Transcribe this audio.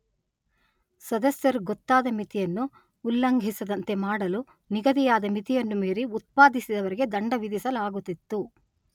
ಸದಸ್ಯರು ಗೊತ್ತಾದ ಮಿತಿಯನ್ನು ಉಲ್ಲಂಘಿಸದಂತೆ ಮಾಡಲು ನಿಗದಿಯಾದ ಮಿತಿಯನ್ನು ಮೀರಿ ಉತ್ಪಾದಿಸಿದವರಿಗೆ ದಂಡ ವಿಧಿಸಲಾಗುತ್ತಿತ್ತು.